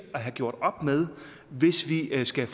have gjort op med hvis vi skal